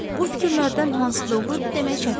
Bu fikirlərdən hansı doğrudur demək çətindir.